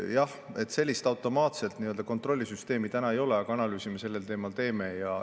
Jah, sellist automaatset kontrollisüsteemi praegu veel ei ole, aga analüüsi me sellel teemal teeme.